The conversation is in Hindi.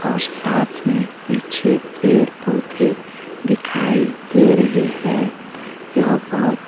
और साथ मे पीछे पेड़ पौधे दिखाई दे रहे है यह बहोत--